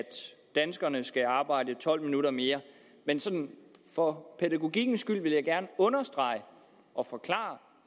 danskerne skal arbejde tolv minutter mere men sådan for pædagogikkens skyld vil jeg gerne understrege og forklare